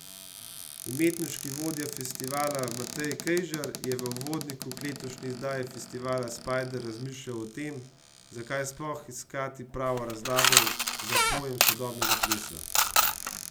Umetniški vodja festivala Matej Kejžar je v uvodniku k letošnji izdaji festivala Spider razmišljal o tem, zakaj sploh iskati pravo razlago za pojem sodobnega plesa.